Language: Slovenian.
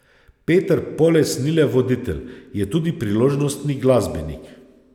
Peter Poles ni le voditelj, je tudi priložnostni glasbenik.